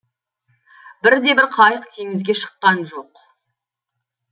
бірде бір қайық теңізге шыққан жоқ